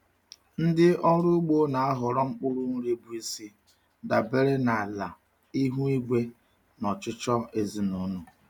Ndị ọrụ ugbo na-ahọrọ mkpụrụ nri bụ isi dabere na ala, ihu igwe, na ọchịchọ ezinụlọ.